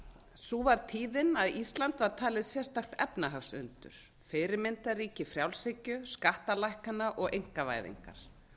sú var tíðin að ísland var talið sérstakt efnahagsundur fyrirmyndarríki frjálshyggju skattalækkana og einkavæðingar